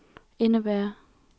indebærer